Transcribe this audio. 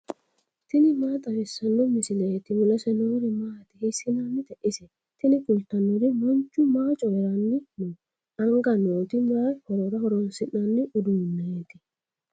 tini maa xawissanno misileeti ? mulese noori maati ? hiissinannite ise ? tini kultannori manchu maa coyiranni no anga nooti mayi horora horoonsi'nanni uduuneeti